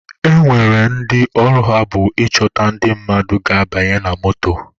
E nwere ndị ọrụ ha bụ ịchọta ndị mmadụ ga-abanye na moto.